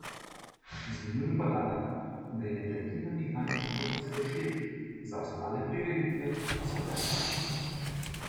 Zanimiv je podatek, da je le tretjina izdanih vstopnic plačljivih, za ostale prireditve pa so brezplačne.